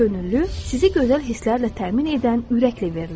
Könüllü sizi gözəl hisslərlə təmin edən ürəklə veriləndir.